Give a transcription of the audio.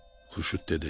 Xurşud dedi: